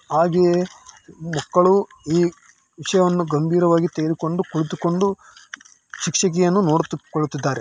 ಹಾಗೆಯೇ ಮಕ್ಕಳು ಈ ವಿಷಯವನ್ನು ಗಂಭೀರವಾಗಿ ತೆಗೆದುಕೊಂಡು ಕುಳಿತುಕೊಂಡು ಶಿಕ್ಷಕಿಯನ್ನು ನೋಡುತ್ತಾ ಕುಳಿತಿದ್ದಾರೆ.